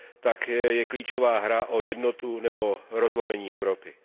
tak je klíčová hra o jednotu nebo rozlomení Evropy.